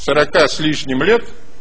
сорока с лишним лет